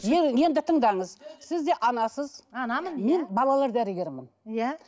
енді тыңдаңыз сіз де анасыз анамын мен балалар дәрігерімін иә